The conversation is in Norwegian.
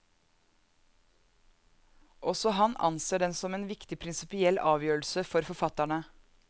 Også han anser den som en viktig prinsipiell avgjørelse for forfatterne.